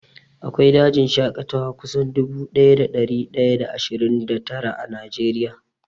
Akwai dajin shaƙatawa kusan dubu ɗaya da ɗari ɗaya da ashirin da tara a Najeriya